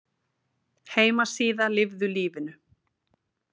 Heimasíða Lifðu lífinu